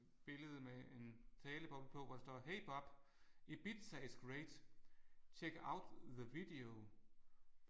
Billede med en taleboble på hvor der står hey Bob Ibiza is great. Check out the video